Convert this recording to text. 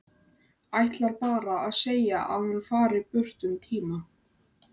Ætlar bara að segja að hún fari burt um tíma.